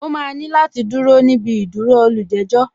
O máa ní láti dúró níbi ìdúró olùjẹ́jọ̀